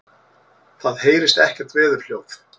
Það heyrist ekkert veðurhljóð.